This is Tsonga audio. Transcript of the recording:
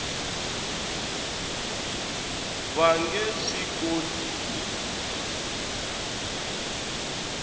va nge swi koti ku